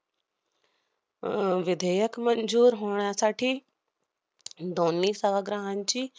अह विधेयक मंजूर होण्यासाठी दोन्ही सभाग्रहांची